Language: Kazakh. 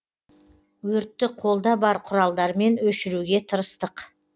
өртті қолда бар құралдармен өшіруге тырыстық